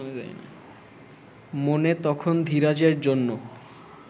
মনে তখন ধীরাজের জন্য